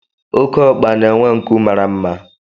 Okeokpa na-enwe nkụ mara mma